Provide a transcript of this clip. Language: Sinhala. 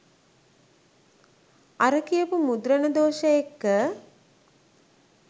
අර කියපු මුද්‍රණ දෝෂ එක්ක